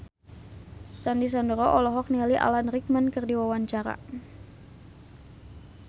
Sandy Sandoro olohok ningali Alan Rickman keur diwawancara